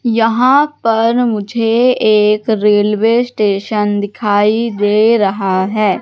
यहां पर मुझे एक रेलवे स्टेशन दिखाई दे रहा है।